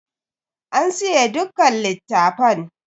An siye dukkan littafan.